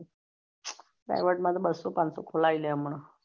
સારું સારું માં તો બસ્સો પાન્સો ખોલાઇ લે હમણાં